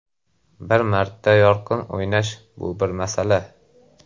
Bir marta yorqin o‘ynash bu bir masala.